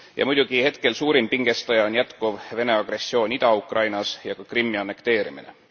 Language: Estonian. Muidugi hetkel suurim pingestaja on jätkuv Vene agressioon Ida Ukrainas ja ka Krimmi annekteerimine.